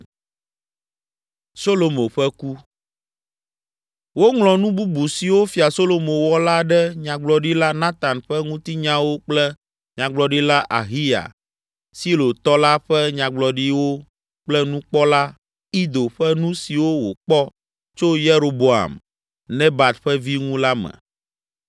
Woŋlɔ nu bubu siwo Fia Solomo wɔ la ɖe Nyagblɔɖila Natan ƒe ŋutinyawo kple Nyagblɔɖila Ahiya, Silotɔ la ƒe nyagblɔɖiwo kple nukpɔla, ldo ƒe nu siwo wòkpɔ tso Yeroboam, Nebat ƒe vi ŋu la me.